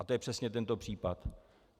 A to je přesně tento případ.